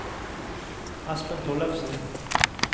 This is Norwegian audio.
Espen Tollefsen